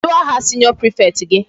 Kedụ aha senior prefect gị?